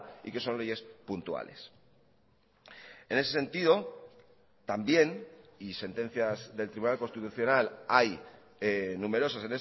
y que son leyes puntuales en ese sentido también y sentencias del tribunal constitucional hay numerosas